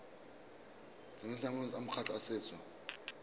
tsamaisong ya makgotla a setso